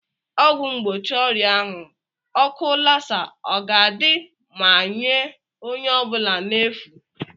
ọgwụ mgbochi ọrịa ahu oku Lassa ọ ga-adị ma nye onye ọ bụla n'efu?